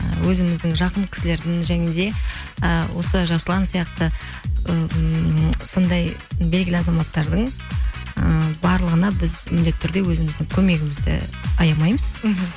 і өзіміздің жақын кісілердің және де і осы жасұлан сияқты ммм сондай белгілі азаматтардың ы барлығына біз міндетті түрде өзіміздің көмегімізді аямаймыз мхм